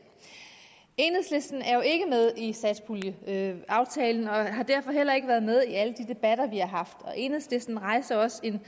enhedslisten er jo ikke med i satspuljeaftalen og har derfor heller ikke været med i alle de debatter vi har haft og enhedslisten rejste også en